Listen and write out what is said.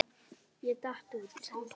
Ég datt út.